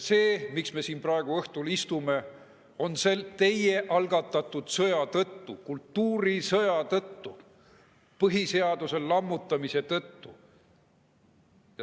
Me istume siin praegu õhtul teie algatatud sõja tõttu, kultuurisõja tõttu, põhiseaduse lammutamise tõttu.